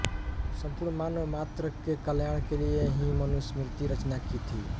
सम्पूर्ण मानव मात्र के कल्याण के लिए ही मनुस्मृति की रचना की थी